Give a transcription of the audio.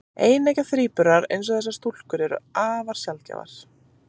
Eineggja þríburar, eins og þessar stúlkur, eru afar sjaldgæfir.